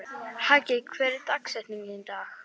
Haki, hver er dagsetningin í dag?